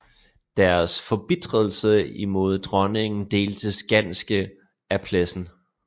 Deres forbitrelse imod dronningen deltes ganske af Plessen